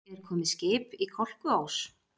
Er komið skip í Kolkuós?